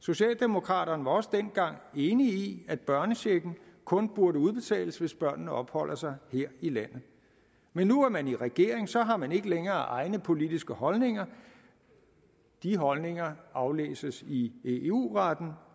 socialdemokraterne var også dengang enige i at børnechecken kun burde udbetales hvis børnene opholder sig her i landet men nu er man i regering og så har man ikke længere egne politiske holdninger de holdninger aflæses i eu retten